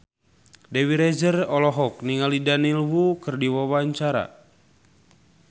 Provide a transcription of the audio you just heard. Dewi Rezer olohok ningali Daniel Wu keur diwawancara